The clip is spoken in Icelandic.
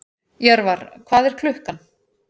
Jörvar, hvað er klukkan?